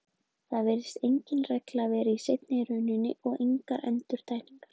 Það virðist engin regla vera í seinni rununni og engar endurtekningar.